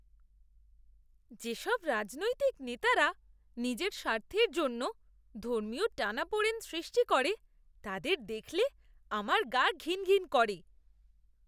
যেসব রাজনৈতিক নেতারা নিজের স্বার্থের জন্য ধর্মীয় টানাপোড়েন সৃষ্টি করে, তাদের দেখলে আমার গা ঘিনঘিন করে।